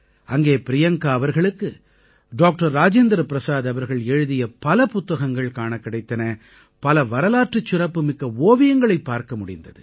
அங்கே பிரியங்கா அவர்களுக்கு டாக்டர் ராஜேந்திர பிரஸாத் அவர்கள் எழுதிய பல புத்தகங்கள் காணக் கிடைத்தன பல வரலாற்றுச் சிறப்புமிக்க ஓவியங்களைப் பார்க்க முடிந்தது